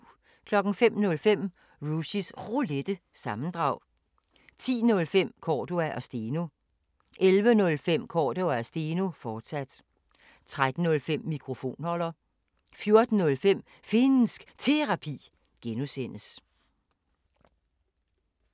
05:05: Rushys Roulette – sammendrag 10:05: Cordua & Steno 11:05: Cordua & Steno, fortsat 13:05: Mikrofonholder 14:05: Finnsk Terapi (G)